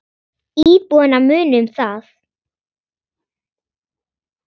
Íbúana muni um það.